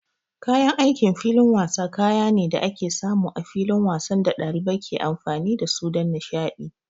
Kayan aikin filin wasa kaya ne da ake samu a filin wasan da ɗalibai ke amfani da su don nishaɗi.